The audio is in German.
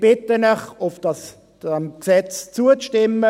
Ich bitte Sie, diesem Gesetz zuzustimmen.